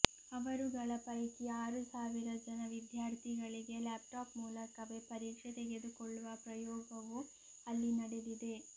ಅವರುಗಳ ಪೈಕಿ ಆರು ಸಾವಿರ ಜನ ವಿದ್ಯಾರ್ಥಿಗಳಿಗೆ ಲ್ಯಾಪ್ಟಾಪ್ ಮೂಲಕವೇ ಪರೀಕ್ಷೆ ತೆಗೆದುಕೊಳ್ಳುವ ಪ್ರಾಯೋಗವೂ ಅಲ್ಲಿ ನಡೆದಿದೆ